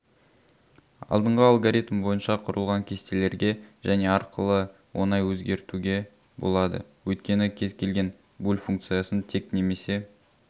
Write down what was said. алдынғы алгоритм бойынша құрылған кестелерге және арқылы оңай өзгертуге болады өйткені кез келген буль функциясын тек немесе